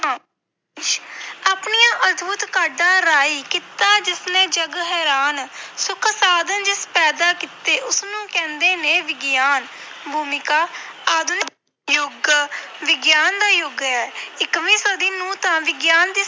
ਆਪਣੀਆਂ ਅਦਭੁਤ ਕਾਢਾਂ ਰਾਹੀਂ ਕੀਤਾ ਜਿਸਨੇ ਜੱਗ ਹੈਰਾਨ ਸੁੱਖ ਸਾਧਨ ਜਿਸ ਪੈਦਾ ਕੀਤੇ ਉਸ ਨੂੰ ਕਹਿੰਦੇ ਨੇ ਵਿਗਿਆਨ, ਭੂਮਿਕਾ ਆਧੁਨਿਕ ਯੁੱਗ ਵਿਗਿਆਨ ਦਾ ਯੁੱਗ ਹੈ ਇਕਵੀਂ ਸਦੀ ਨੂੰ ਤਾਂ ਵਿਗਿਆਨ ਦੀ